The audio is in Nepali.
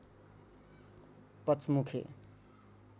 पचमुखे